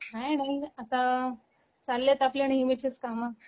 काय नाही, आता चालले आहेत आपले नेहमीचेच काम.